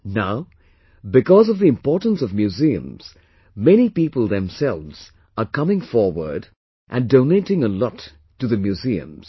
Now, because of the importance of museums, many people themselves are coming forward and donating a lot to the museums